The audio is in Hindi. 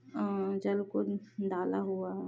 अ जल कून डाला हुआ --